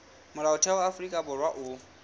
molaotheo wa afrika borwa o